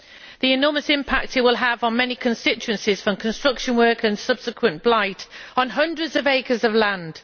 The enormous impact it will have on many constituencies from construction work and subsequent blight will affect hundreds of acres of land.